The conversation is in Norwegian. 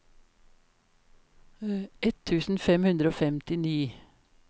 ett tusen fem hundre og femtini